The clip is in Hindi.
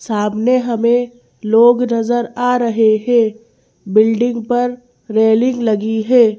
सामने हमें लोग नजर आ रहे हैं बिल्डिंग पर रेलिंग लगी है।